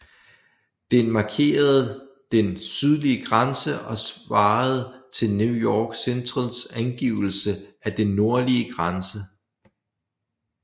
Den markerede den sydlige grænse og svarede til New York Centrals angivelse af den nordlige grænse